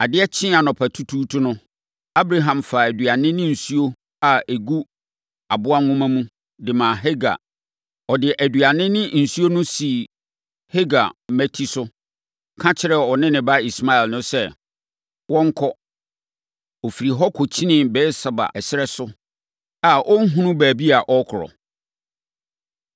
Adeɛ kyee anɔpatutuutu no, Abraham faa aduane ne nsuo a ɛgu aboa nwoma mu, de maa Hagar. Ɔde aduane no ne nsuo no sisii Hagar mmati so, ka kyerɛɛ ɔne ne ba Ismael no sɛ, wɔnkɔ. Ɔfirii hɔ kɔkyinkyinii Beer-Seba ɛserɛ so a na ɔnhunu baabi a ɔrekɔ.